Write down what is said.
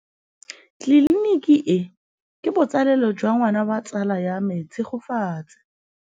Tleliniki e, ke botsalêlô jwa ngwana wa tsala ya me Tshegofatso.